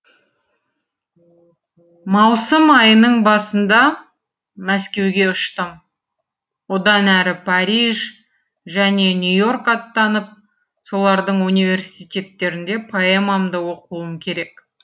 маусым айының басында мәскеуге ұштым одан әрі париж және нью и орк аттанып солардың университеттерінде поэмамды оқуым керек